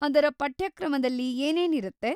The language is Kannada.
ಅದರ ಪಠ್ಯಕ್ರಮದಲ್ಲಿ ಏನೇನಿರತ್ತೆ?